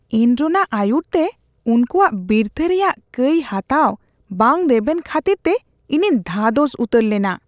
ᱮᱱᱨᱚᱱᱟᱜ ᱟᱹᱭᱩᱨᱛᱮ ᱩᱱᱠᱩᱣᱟᱜ ᱵᱤᱨᱛᱷᱟᱹ ᱨᱮᱭᱟᱜ ᱠᱟᱹᱭ ᱦᱟᱛᱟᱣ ᱵᱟᱝ ᱨᱮᱵᱮᱱ ᱠᱷᱟᱹᱛᱤᱨ ᱛᱮ ᱤᱧᱤᱧ ᱫᱷᱟᱫᱚᱥ ᱩᱛᱟᱹᱨ ᱞᱮᱱᱟ ᱾